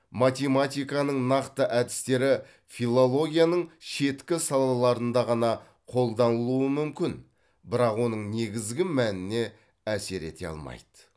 математиканың нақты әдістері филологияның шеткі салаларында ғана қолданылуы мүмкін бірақ оның негізгі мәніне әсер ете алмайды